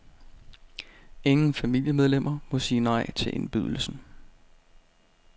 Ingen familiemedlemmer må sige nej til indbydelsen.